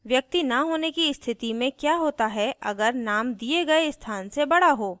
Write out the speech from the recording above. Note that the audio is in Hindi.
व्यक्ति न होने की स्थिति में क्या होता है अगर name दिए गए स्थान से बड़ा हो